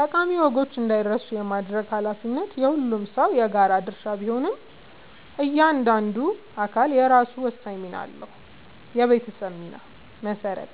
ጠቃሚ ወጎች እንዳይረሱ የማድረግ ኃላፊነት የሁሉም ሰው የጋራ ድርሻ ቢሆንም፣ እያንዳንዱ አካል የራሱ ወሳኝ ሚና አለው፦ የቤተሰብ ሚና (መሠረት)፦